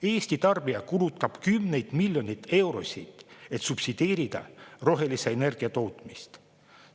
Eesti tarbija kulutab kümneid miljoneid eurosid, et subsideerida rohelise energia tootmist.